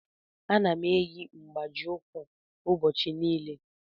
Ana m eyi mgbaji ukwu ụbọchị niile.